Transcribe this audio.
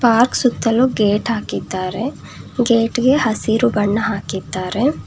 Park ಸುತ್ತಲು gate ಹಾಕಿದ್ದಾರೆ ಗೇಟ್ಗೆ ಹಸಿರು ಬಣ್ಣ ಹಾಕಿದ್ದಾರೆ.